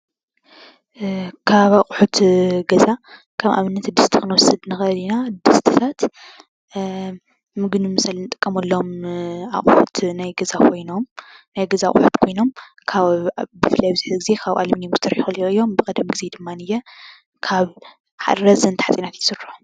ካብ ኣቑሑት ገዛ ካብ ኣብነት ድስቲ ክንወስድ ንኽእል ኢና። ድስትታት ምግቢ መብሰሊ ንጥቀመሎም ኣቑሑት ናይ ገዛ ኮይኖም ብፍላይ ኣብዚ ሕዚ ግዜ ካብ ብዙሕ ካብ ኣልምንየም ኮይኖም እዙይ ድማንየ ካብ ረዘንቲ ሓፂናት ይስርሑ።